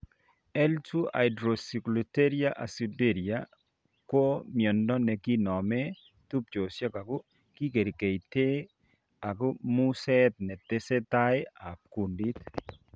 L 2 hydroxyglutaric aciduria ko miondo nekinomen tubchosiek ako kikerkeite ak museet netesetai ab kundit